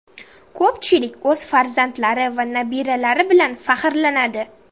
Ko‘pchilik o‘z farzandlari va nabiralari bilan faxrlanadi.